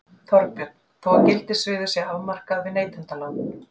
Þorbjörn: Þó að gildissviðið sé afmarkað við neytendalán?